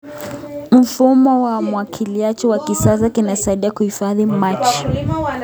Mfumo wa umwagiliaji wa kisasa unasaidia kuhifadhi maji.